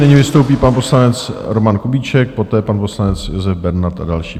Nyní vystoupí pan poslanec Roman Kubíček, poté pan poslanec Josef Bernard a další.